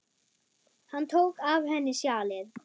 Hann tók af henni sjalið.